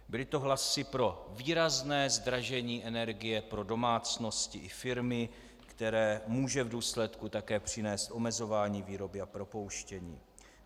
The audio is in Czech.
Byly to hlasy pro výrazné zdražení energie pro domácnosti i firmy, které může v důsledku také přinést omezování výroby a propouštění.